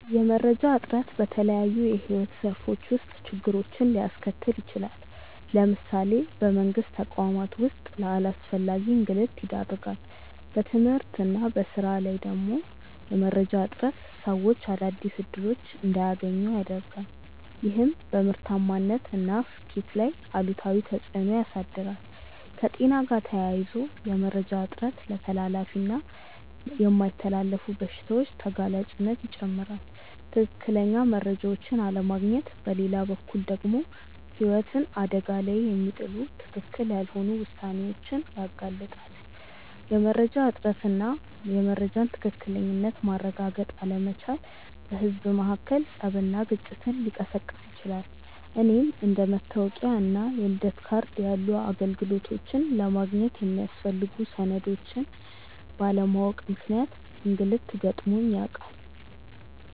የመረጃ እጥረት በተለያዩ የሕይወት ዘርፎች ውስጥ ችግሮችን ሊያስከትል ይችላል። ለምሳሌ በመንግስት ተቋማት ውስጥ ለአላስፈላጊ እንግልት ይዳርጋል። በትምህርት እና በሥራ ላይ ደግሞ የመረጃ እጥረት ሰዎች አዳዲስ እድሎች እንዳያገኙ ያረጋል፤ ይህም በምርታማነት እና ስኬት ላይ አሉታዊ ተፅእኖ ያሳድራል። ከጤና ጋር ተያይዞ የመረጃ እጥረት ለተላላፊ እና የማይተላለፉ በሽታዎች ተጋላጭነትን ይጨምራል። ትክክለኛ መረጃዎችን አለማግኘት በሌላ በኩል ደግሞ ህይወትን አደጋ ላይ የሚጥሉ ትክክል ያልሆኑ ውሳኔዎችን ያጋልጣል። የመረጃ እጥረት እና የመረጃን ትክክለኝነት ማረጋገጥ አለመቻል በህዝብ መካከል ፀብና ግጭትን ሊቀሰቅስ ይችላል። እኔም አንደ መታወቂያ እና የልደት ካርድ ያሉ አገልግሎቶችን ለማግኘት የሚያስፈልጉ ሰነዶችን ባለማወቅ ምክንያት እንግልት ገጥሞኝ ያውቃል።